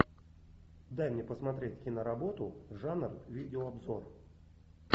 дай мне посмотреть киноработу жанр видеообзор